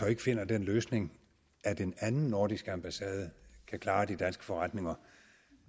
ikke finder den løsning at en anden nordisk ambassade kan klare de danske forretninger